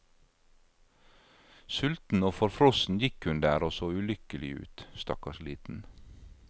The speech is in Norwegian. Sulten og forfrossen gikk hun der og så ulykkelig ut, stakkars liten.